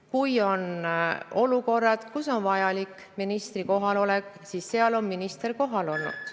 Kui on olukorrad, kus on vajalik ministri kohalolek, siis seal on minister kohal olnud.